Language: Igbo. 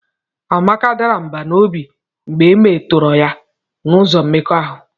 Amaka dara mbà n'obi mgbe e metọrọ ya n'ụzọ mmekọahụ